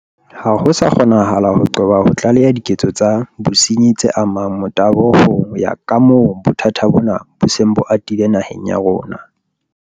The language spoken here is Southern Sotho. Ha ho sa kgonahala ho qoba ho tlaleha diketso tsa bosenyi tse amang motabo ho ya kamoo bothata bona bo seng bo atile naheng ya rona.